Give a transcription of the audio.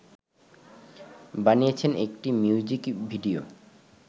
বানিয়েছেন একটি music video.